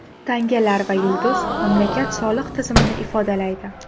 Tangalar va yulduz mamlakat soliq tizimini ifodalaydi.